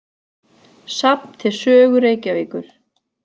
Safn til sögu Reykjavíkur.